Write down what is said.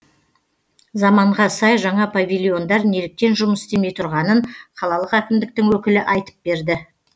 заманға сай жаңа павильондар неліктен жұмыс істемей тұрғанын қалалық әкімдіктің өкілі айтып берді